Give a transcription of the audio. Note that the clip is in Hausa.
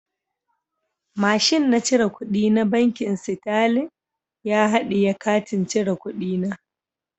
Mashin na cire kudi na bankin"starling " ya hadiye katin cire kudi na.